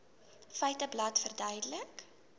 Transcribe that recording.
feiteblad verduidelik